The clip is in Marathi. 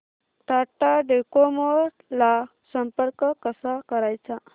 टाटा डोकोमो ला संपर्क कसा करायचा